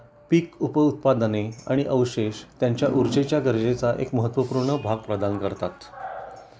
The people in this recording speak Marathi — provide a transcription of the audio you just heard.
पीक उप उत्पादने आणि अवशेष त्यांच्या ऊर्जेच्या गरजेचा एक महत्त्वपूर्ण भाग प्रदान करतात